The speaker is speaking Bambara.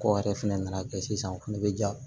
Kɔ yɛrɛ fɛnɛ nana kɛ sisan o fɛnɛ be ja